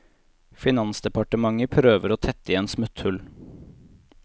Finansdepartementet prøver å tette igjen smutthull.